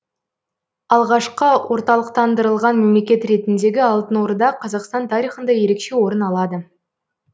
алғашқы орталықтандырылған мемлекет ретіндегі алтын орда қазақстан тарихында ерекше орын алады